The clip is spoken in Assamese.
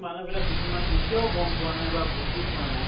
মানুহবিলাক কিছুমান এতিয়াও গম পোৱা নাই বা বুজি পোৱা নাই।